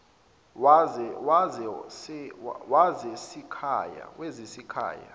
wezasekhaya